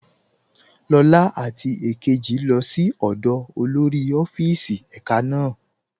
Lọla àti èkéjì lọ sí ọ̀dọ́ olórí ọ̀fíìsì èká náà.